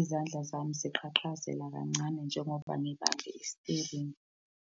izandla zami ziqhaqhazela kancane njengoba ngibambe isiteringi.